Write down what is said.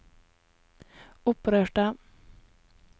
opprørte